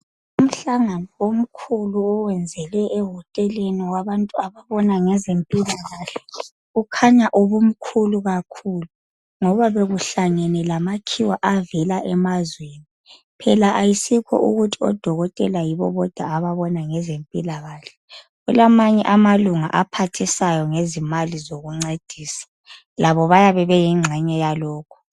Umhlangano omkhulu oyenzelwe ohoteleni owabantu ababona ngezempilakahle kukhanya ubumkhulu kakhulu ngoba bekuhlangene lamakhiwa avela emazweni, phela ayisikho ukuthi odokotela yibo bodwa ababona ngezempilakahle, kulamanye amalunga aphathisayo ngezimali zokuncedisa, labo bayabe beyingxenye yalokho.